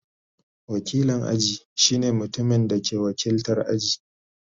Wakilin aji shine mutumin da ke wakiltar aji.